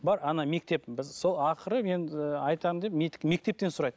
бар ана мектеп біз сол ақыры мен ыыы айтам деп мектептен сұрайды